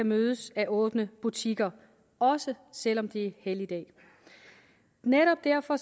mødes af åbne butikker også selv om det er helligdag netop derfor